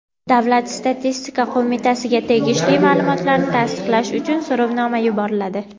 Davlat statistika qo‘mitasiga tegishli ma’lumotlarni tasdiqlash uchun so‘rovnoma yuboriladi.